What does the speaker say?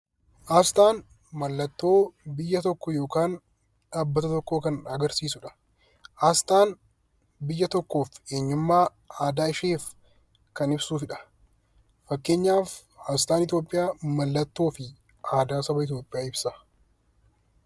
Asxaan mallattoo biyya tokkoo yookaan dhaabbata tokkoo kan agarsiisudha. Asxaan biyya tokkoof eenyummaa, aadaa isheef kan ibsudha. Fakkeenyaaf asxaan Itoophiyaa mallattoo fi aadaa saba Itoophiyaa ibsa.